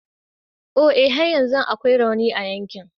O e! har yanzu akwai rauni a yankin.